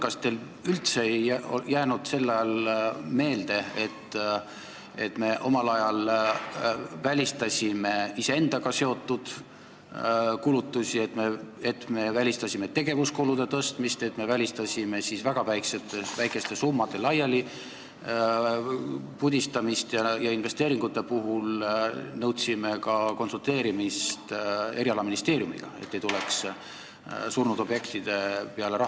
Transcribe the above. Kas teil ei jäänud sel ajal üldse meelde, et me omal ajal välistasime iseendaga seotud kulutused, me välistasime tegevuskulude tõstmise, me välistasime väga väikeste summade laialipudistamise ja nõudsime investeeringute puhul ka erialaministeeriumiga konsulteerimist, et ei antaks raha surnud objektidele?